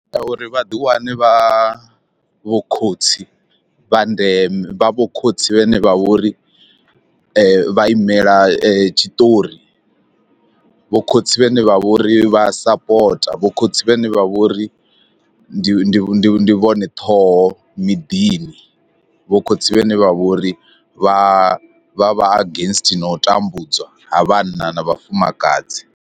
Ya uri vhaḓi wane vha vho khotsi vha ndeme vha vho khotsi vhene vha vhori vha imela tshiṱori, vho khotsi vhane vha vhori vha sapota, vho khotsi vhane vha vhori ndi ndi ndi vhone ṱhoho miḓini, vho khotsi vhane vha vhori vha vha vha against na u tambudzwa ha vhanna na vhafumakadzi.